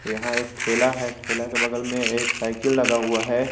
यहां एक ठेला है ठेला के बगल में एक साइकिल लगा हुआ है।